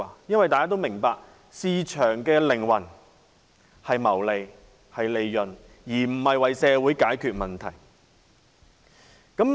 眾所周知，市場的靈魂是謀利，而不是為社會解決問題。